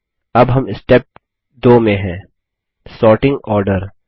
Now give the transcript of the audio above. अब हम स्टेप 2 में हैं सॉर्टिंग आर्डर